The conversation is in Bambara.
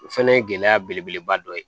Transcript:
O fɛnɛ ye gɛlɛya belebeleba dɔ ye